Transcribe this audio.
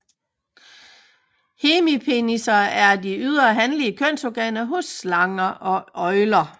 Hemipenisser er de ydre hanlige kønsorganer hos slanger og øgler